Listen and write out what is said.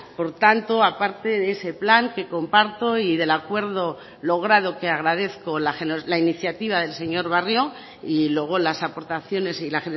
por tanto aparte de ese plan que comparto y del acuerdo logrado que agradezco la iniciativa del señor barrio y luego las aportaciones y la